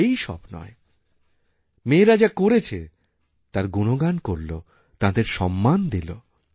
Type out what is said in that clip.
এইই সব নয় মেয়েরাযা করেছে তার গুণগান করল তাঁদের সম্মান দিল